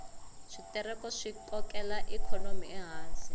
switereko swi kokela ikhonomi ehansi